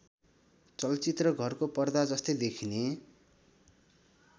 चलचित्रघरको पर्दा जस्तै देखिने